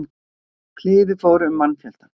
Kliður fór um mannfjöldann.